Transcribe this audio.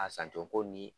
A san cogo ni